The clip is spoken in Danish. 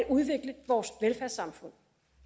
udvikle vores velfærdssamfund